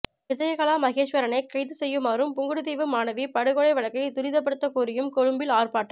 விஜயகலா மகேஸ்வரனைக் கைதுசெய்யுமாறும் புங்குடுதீவு மாணவி படுகொலை வழக்கை துரிதப்படுத்தக் கோரியும் கொழும்பில் ஆர்பாட்டம்